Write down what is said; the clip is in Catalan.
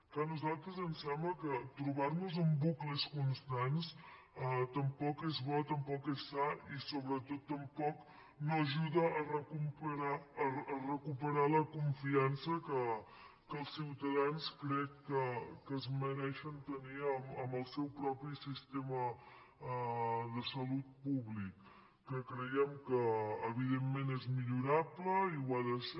clar a nosaltres ens sembla que trobar nos en bucles constants tampoc és bo tampoc és sa ni sobretot tampoc no ajuda a recuperar la confiança que els ciutadans crec que es mereixen tenir en el seu propi sistema de salut públic que creiem que evidentment és millorable i ho ha de ser